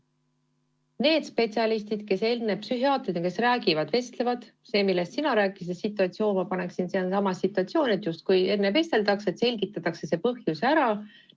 Need spetsialistid, kes enne psühhiaatrit räägivad, vestlevad – see on seesama situatsioon, millest sina rääkisid, et enne vesteldakse ja selgitatakse põhjus välja.